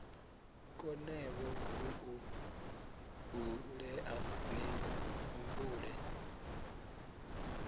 konevho u ṱuṱulea ni humbule